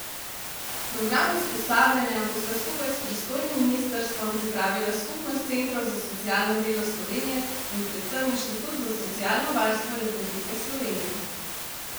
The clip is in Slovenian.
Program usposabljanja bosta skupaj s pristojnim ministrstvom pripravila Skupnost centrov za socialno delo Slovenije in predvsem Inštitut za socialno varstvo Republike Slovenije.